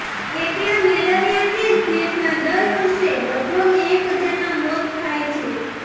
એકલા મેલેરિયાથી જ દેશમાં દર વર્ષે લગભગ એક હજારના મોત થાય છે